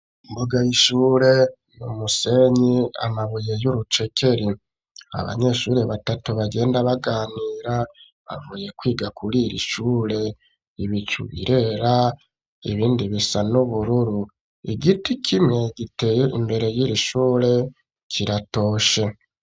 Imbuga y'ishure n'umusenyi , amabuye y'urucekeri ,abanyeshure batatu bagenda baganira, bavuye kwiga kuri iri shure ibicu birera ibindi bisa n'ubururu. Igiti kimwe giteye imbere y'iri shure kiratoshe.